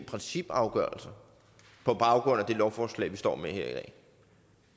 principafgørelser på baggrund af det lovforslag vi står med her i dag